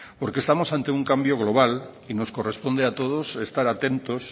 estamos ante un cambio global y nos corresponde a todos estar atentos